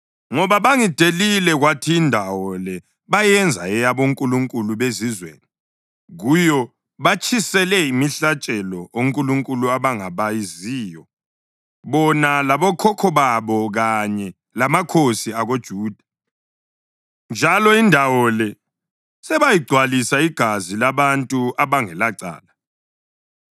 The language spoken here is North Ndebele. Ngoba bangidelile kwathi indawo le bayenza eyabonkulunkulu bezizweni; kuyo batshisele imihlatshelo onkulunkulu abangabaziyo, bona labokhokho babo kanye lamakhosi akoJuda, njalo indawo le sebayigcwalisa igazi labantu abangelacala.